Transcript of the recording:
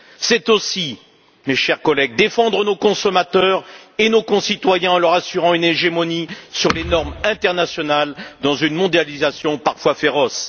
C'est aussi, mes chers collègues, défendre nos consommateurs et nos concitoyens en leur assurant une hégémonie sur les normes internationales dans une mondialisation parfois féroce.